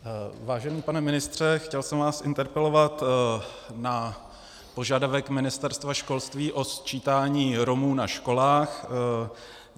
Vážený pane ministře, chtěl jsem vás interpelovat na požadavek Ministerstva školství na sčítání Romů ve školách.